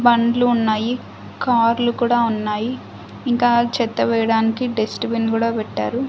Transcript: బండ్లు ఉన్నాయి కార్లు కూడా ఉన్నాయి ఇంకా చెత్త వేయడానికి డస్ట్ బిన్ కూడా పెట్టారు.